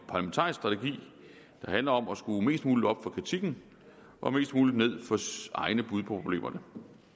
handler om at skrue mest muligt op for kritikken og mest muligt ned for egne bud på problemerne